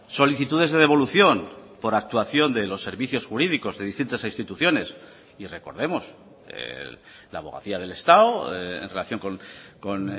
solicitudes de devolución por actuación de los servicios jurídicos de distintas instituciones y recordemos la abogacía del estado en relación con